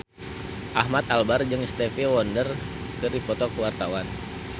Ahmad Albar jeung Stevie Wonder keur dipoto ku wartawan